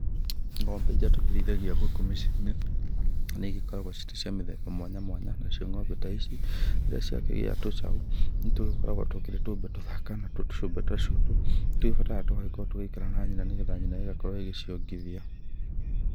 Ng'ombe iria tũkĩrĩithagia gũkũ mĩciĩ-inĩ nĩ igĩkoragwo iri cia mĩthemba mwanya mwanya. Nacio ng'ombe ta ici rirĩa ciakĩgĩa tũcaũ nĩ tũgĩkoragwo tũkĩri tũmbe tũthaka na tũmbe ta tũtũ nĩ tubataraga tũgagĩkorwo tũgĩikara na nyina nĩ getha nyina ĩgagĩkorwo igĩciongithia.